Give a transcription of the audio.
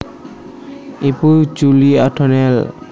Ibu Julie O Donnell